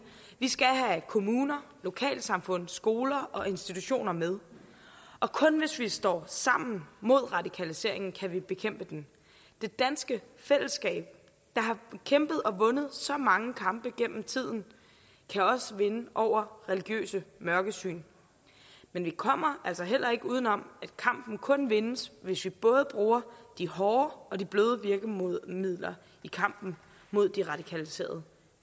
vi skal have kommuner lokalsamfund skoler og institutioner med kun hvis vi står sammen mod radikaliseringen kan vi bekæmpe den det danske fællesskab der har kæmpet og vundet så mange kampe gennem tiden kan også være inde over religiøse mørkesyn men vi kommer altså heller ikke uden om at kampen kun vindes hvis vi både bruger de hårde og de bløde virkemidler i kampen mod de radikaliserede